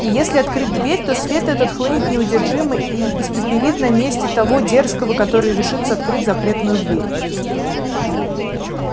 и если открыть дверь то свет этот хлынет неудержимо и испепелит на месте того дерзкого который решится открыть запретную дверь